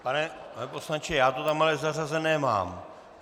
Pane poslanče, já to tam ale zařazené mám.